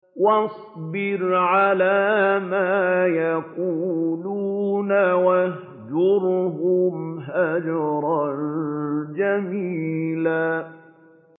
وَاصْبِرْ عَلَىٰ مَا يَقُولُونَ وَاهْجُرْهُمْ هَجْرًا جَمِيلًا